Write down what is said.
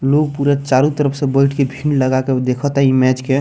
लोग पूरा चारो तरफ से बैठ के भीड़ लगा के देख ता इ मैच के।